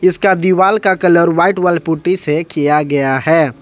इसका दीवाल का कलर व्हाइट वॉल पुट्टी से किया गया है।